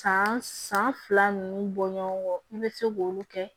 San san fila nun bɔ ɲɔgɔn kɔ i bɛ se k'olu kɛ